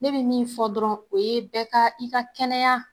Ne bɛ min fɔ dɔrɔn o ye bɛɛ ka i ka kɛnɛya